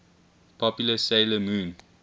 popular 'sailor moon